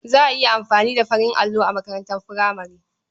Za a iya amfani da farin allo a makarantar furamare.